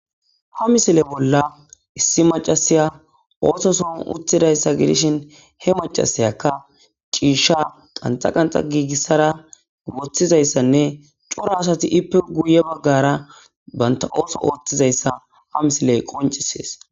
Ha misile bolla issi macashiya otho sohon uttidaysa gidishin he macashiyaka cisha qanxa qanxa gigisada wothizaysane cora asati izzippe guye bagara banta otho othizaysa ha misiley qoncises